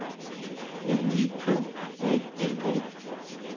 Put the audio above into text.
M I K A L A